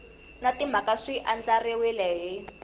na timhaka swi andlariwile hi